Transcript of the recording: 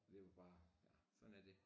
Det var bare ja sådan er det